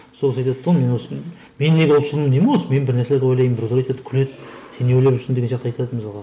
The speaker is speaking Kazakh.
сол кісі айтады да мен осы мен неге ұлтшылмын деймін ғой осы мен бір нәрсені ойлаймын біреулер айтады күледі сен не ойлап жүрсің деген сияқты айтады мысалға